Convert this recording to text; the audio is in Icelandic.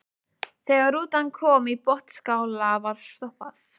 Þegar rútan kom í Botnsskála var stoppað.